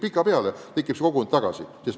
Pikapeale kujuneb jälle kogukond.